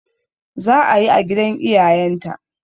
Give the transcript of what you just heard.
Za'a yi a gidan iyayen ta